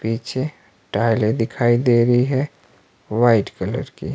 पीछे टाइले दिखाई दे रही है व्हाइट कलर की।